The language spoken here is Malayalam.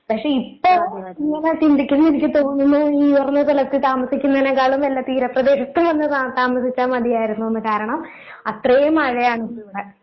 പക്ഷെ ഇപ്പൊ ഇങ്ങനെ ചിന്തിക്കുമ്പൊയെനിക്ക് തോന്നുന്നു ഉയർന്ന തലത്തീ താമസിക്കുന്നേനേക്കാളും നല്ലത് തീരപ്രദേശത്ത് വന്ന് താ താമസിച്ചാ മതിയായിരുന്നൂന്ന് കാരണം അത്രേം മഴയാണ് ഇപ്പിവടെ.